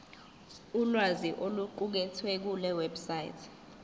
ulwazi oluqukethwe kulewebsite